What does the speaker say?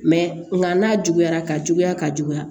Mɛ nka n'a juguyara ka juguya ka juguya